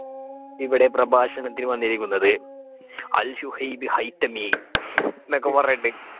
ഇവിടെ പ്രഭാഷണത്തിന് വന്നിരിക്കുന്നത് ഷുഹൈബ് ഹൈത്തമി എന്നൊക്കെ പറഞ്ഞിട്ട്